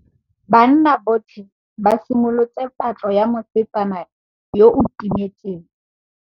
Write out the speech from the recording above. Banna botlhê ba simolotse patlô ya mosetsana yo o timetseng.